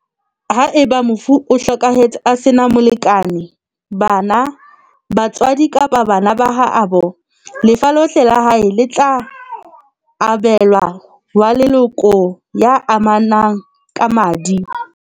Haeba mofu o hlokahetse a sena molekane, bana, ba tswadi kapa bana ba haabo, lefa lohle la hae le tla abe lwa wa leloko ya amanang ka madi.